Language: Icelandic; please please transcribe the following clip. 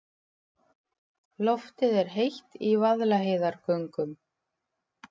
Loftið er heitt í Vaðlaheiðargöngum.